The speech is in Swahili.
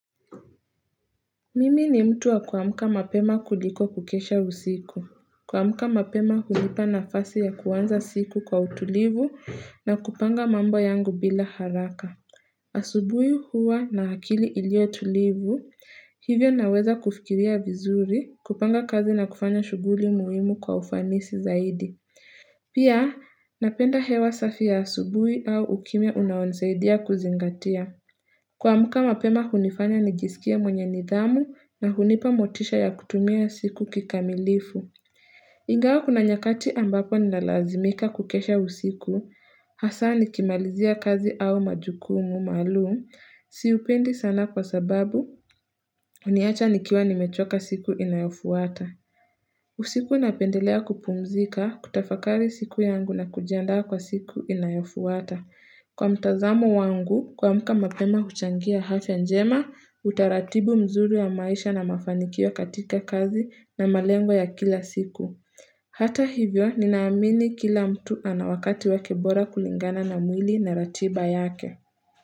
Mimi ni mtu wa kuamka mapema kuliko kukesha usiku. Kuamka mapema hunipa nafasi ya kuanza siku kwa utulivu na kupanga mambo yangu bila haraka. Asubuhi huwa na akili ilioyotulivu, hivyo naweza kufikiria vizuri, kupanga kazi na kufanya shuguli muhimu kwa ufanisi zaidi. Pia, napenda hewa safi ya asubuhi au ukimya unaonsaidia kuzingatia. Kuamka mapema hunifanya nijisikia mwenye nidhamu na hunipa motisha ya kutumia siku kikamilifu. Ingawa kuna nyakati ambapo nalazimika kukesha usiku, hasa nikimalizia kazi au majukumu maluum, siupendi sana kwa sababu, huniacha nikiwa nimechoka siku inayofuata. Usiku napendelea kupumzika, kutafakari siku yangu na kujianda kwa siku inayofuata. Kwa mtazamo wangu, kuamka mapema huchangia afya njema, utaratibu mzuru wa maisha na mafanikio katika kazi na malengo ya kila siku. Hata hivyo, ninaamini kila mtu anawakati wake bora kulingana na mwili na ratiba yake.